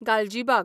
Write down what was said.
Galgibag